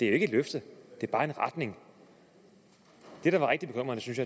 er et løfte men bare en retning det der var rigtig bekymrende synes